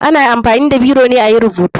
Ana amfani da biro ne ayi rubutu.